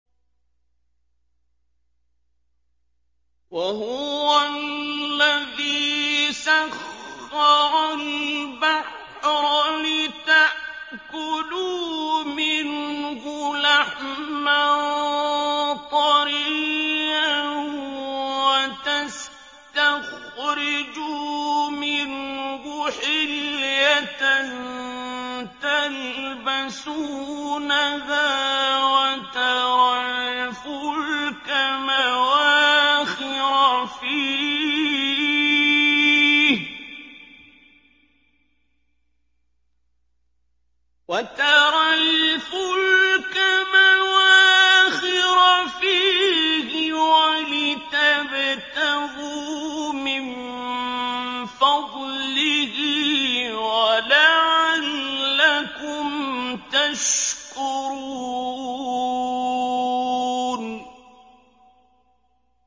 وَهُوَ الَّذِي سَخَّرَ الْبَحْرَ لِتَأْكُلُوا مِنْهُ لَحْمًا طَرِيًّا وَتَسْتَخْرِجُوا مِنْهُ حِلْيَةً تَلْبَسُونَهَا وَتَرَى الْفُلْكَ مَوَاخِرَ فِيهِ وَلِتَبْتَغُوا مِن فَضْلِهِ وَلَعَلَّكُمْ تَشْكُرُونَ